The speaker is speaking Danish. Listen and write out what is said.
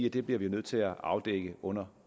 at det bliver vi nødt til afdække under